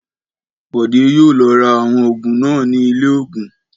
Bọ̀dé yóò lọ ra àwọn òògùn náà ní ilé-òògùn.